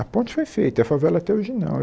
A Ponte foi feita, e a favela até hoje não.